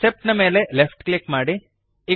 accept ನ ಮೇಲೆ left click ಮಾಡಿರಿ